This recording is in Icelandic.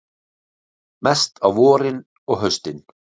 Mest á vorin og haustin.